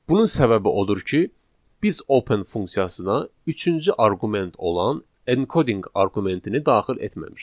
Bunun səbəbi odur ki, biz open funksiyasına üçüncü arqument olan encoding arqumentini daxil etməmişik.